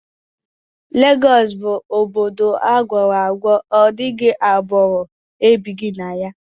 Legọọsị bụ obodo agwara ọgwa, ọdịghị agbụrụ ebighi na ya